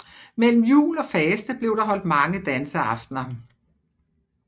Mellem jul og faste blev der holdt mange danseaftener